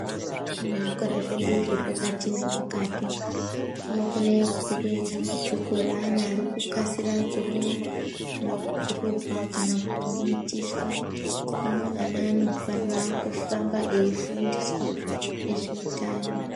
Mukati mezvikora zvese zvepakati nepakati Kunokona kubuda dambudziko reanabarikuda kunasira kurorora kana kuti mitswa hino anaanifanirwa kuramba weifundiswa nezvehutano.